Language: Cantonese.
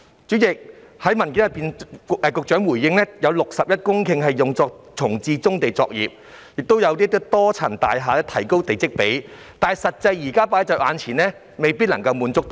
主席，局長在主體答覆中表示有61公頃土地用作重置棕地作業，而發展多層樓宇的用地的地積比率亦頗高，但眼前的現況是無法滿足需求。